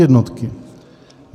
Podjednotky.